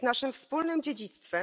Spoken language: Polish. Jest naszym wspólnym dziedzictwem.